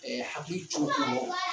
hakili co ko rɔ